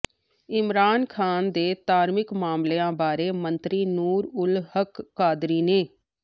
ਇਮਰਾਨ ਖ਼ਾਨ ਦੇ ਧਾਰਮਿਕ ਮਾਮਲਿਆਂ ਬਾਰੇ ਮੰਤਰੀ ਨੂਰ ਉਲ ਹੱਕ ਕਾਦਰੀ ਨੇ